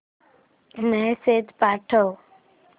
message पाठव